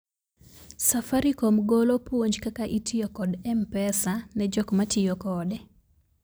safaricom golo puonj kaka itiyo kod mpesa ne jok matiyo kode